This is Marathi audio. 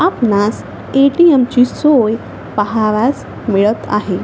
आपणास ए.टी.एम. ची सोय पहावयास मिळत आहे.